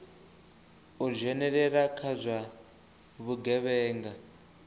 u dzhenelela kha zwa vhugevhenga